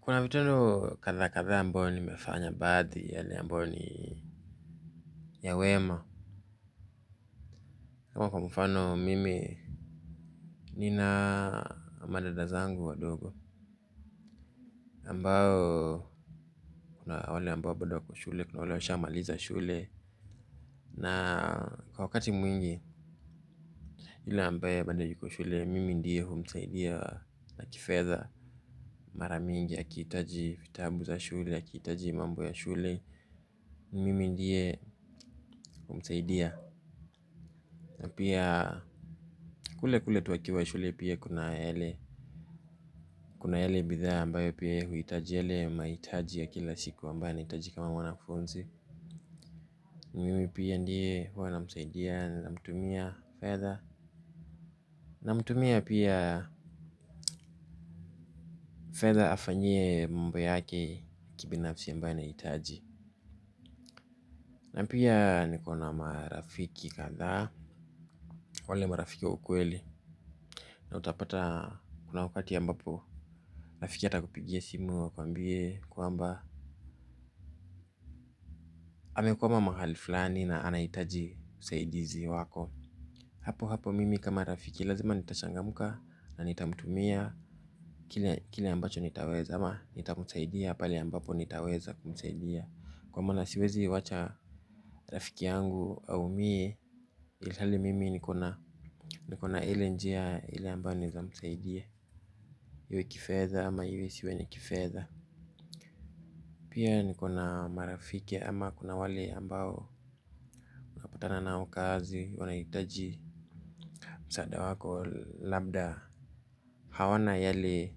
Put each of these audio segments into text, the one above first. Kuna vitendo kadha kadha ambayo nimefanya baadhi yale ambayo ni ya wema kwa mfano mimi nina madada zangu wadogo ambao kuna wale ambao bodo wako shule, kuna wale washamaliza shule. Na kwa wakati mwingi yule ambaye bando yuko shule mimi ndiye humsaidia na kifedha maramingi akihitaji vitabu za shule, akihitaji mambo ya shule. Mimi ndiye humsaidia. Na pia kule kule tu akiwa shule pia kuna yale. Kuna yale bidhaa ambayo pia huhitaji yale ya mahitaji ya kila siku ambaye anahitaji kama mwanakufunzi mimi pia ndiye huwa namsaidia na namtumia fedha, namtumia pia fedha afanyie mambo yake kibinafsi ambaye anahitaji. Na pia niko na marafiki kadhaa. Wale marafiki wa ukweli na utapata kuna wakati ambapo rafiki atakupigia simu akuambie kwamba amekwama mahali fulani na anahitaji usaidizi wako. Hapo hapo mimi kama rafiki lazima nitachangamka na nitamtumia kile kile ambacho nitaweza ama nitamsaidia pale ambapo nitaweza kumsaidia. Kwa maana siwezi wacha rafiki yangu aumie ilhali mimi nikona ile njia ile ambayo naweza msaidia. Iwe kifedha ama iwe siwe kifedha. Pia nikona marafiki ama kuna wale ambao napatana nao kazi wanahitaji msaada wako labda hawana yale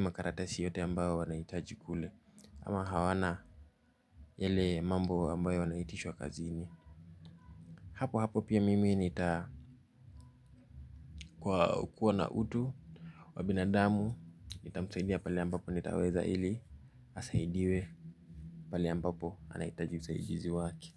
makaratasi yote ambayo wanahitaji kule. Ama hawana yele mambo ambayo wanaitishwa kazini. Hapo hapo pia mimi nitakuwa na utu wa binadamu. Nitamsaidia pale ambapo nitaweza ili asahidiwe pale ambapo anahitaji usahidizi wake.